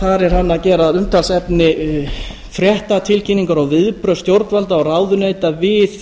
þar er hann að gera að umtalsefni fréttatilkynningar og viðbrögð stjórnvalda og ráðuneyta við